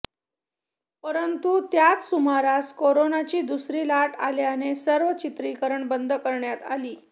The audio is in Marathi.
परंतु त्याच सुमारास करोनाची दुसरी लाट आल्याने सर्व चित्रीकरणे बंद करण्यात आली